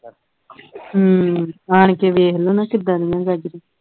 ਹੂ ਆਣਕੇ ਵੇਖ ਲਓ ਕਿੱਦਾਂ ਦੀਆਂ ਗਾਜਰਾਂ